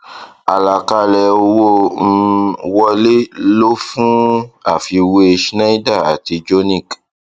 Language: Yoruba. àlàkalẹ owó um wọlé lò fún àfiwé schneider àti jonick